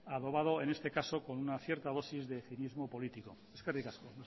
adobado en este caso con una cierta dosis de cinismo político eskerrik asko